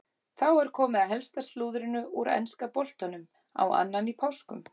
Þá er komið að helsta slúðrinu úr enska boltanum á annan í páskum.